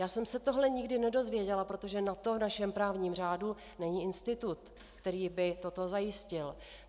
Já jsem se tohle nikdy nedozvěděla, protože na to v našem právním řádu není institut, který by toto zajistil.